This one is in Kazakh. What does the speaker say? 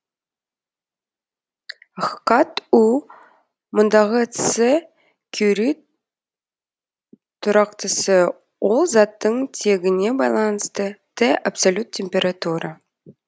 хкат у мұндагы ц кюри тұрақтысы ол заттың тегіне байланысты т абсолют температура